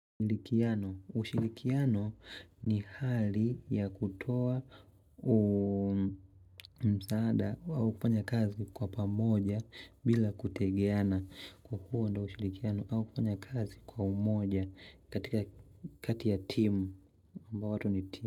Ushilikiano ni hali ya kutoa msaada au kufanya kazi kwa pamoja bila kutengeana Kwa huo ndio ushilikiano au kufanya kazi kwa umoja katika kati ya timu ambao watu ni timu.